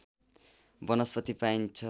वनस्पति पाइन्छ